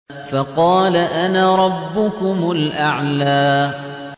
فَقَالَ أَنَا رَبُّكُمُ الْأَعْلَىٰ